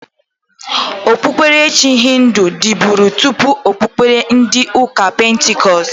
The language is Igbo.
Okpuberechi hịndụ diburi tụpụ okpubere ndi uka pentikọst.